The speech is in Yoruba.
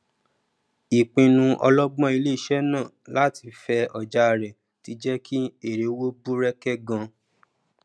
ìpinnu ọlọgbọn iléiṣẹ náà láti fẹ ọjà rẹ tí jẹ ki èrèowó bú rẹkẹ gan